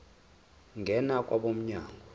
ngena kwabo mnyango